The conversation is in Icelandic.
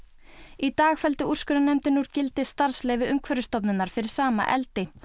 í dag felldi úrskurðarnefndin úr gildi starfsleyfi Umhverfisstofnunar fyrir sama eldi